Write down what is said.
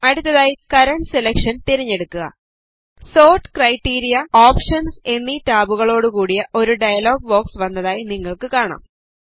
അടുത്തതായി current selection തിരഞ്ഞെടുക്കുക sort criteria options എന്നീ ടാബുകളോട് കൂടിയ ഒരു ഡയലോഗ് ബോക്സ് വന്നതായി നിങ്ങൾക്ക് കാണാം